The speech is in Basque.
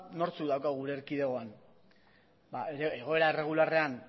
nortzuk daukagu gure erkidegoan ba egoera erregularrean